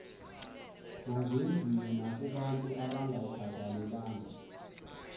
mazenziwe nakobantu abangayikhathalelanga